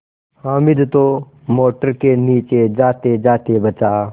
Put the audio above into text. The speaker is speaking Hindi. हामिद तो मोटर के नीचे जातेजाते बचा